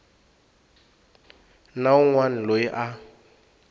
na wun wana loyi a